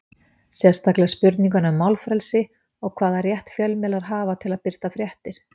Sérstaklega spurninguna um málfrelsi og hvaða rétt fjölmiðlar hafa til að birta fréttir?